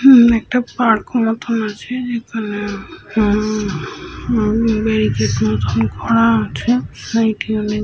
উম একটা পার্ক মতো আছে যেখানে উম উম বেরিকেড মতন করা আছে। সাইড এ অনেক --